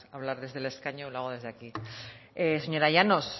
hablar desde el escaño lo hago desde aquí señora llanos